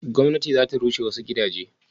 gwamnati za ta rushe wasu gidaje?